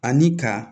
Ani ka